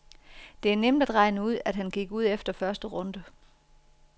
Det er nemt at regne ud, at han gik ud efter første runde.